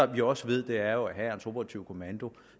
vi jo også ved er at hærens operative kommando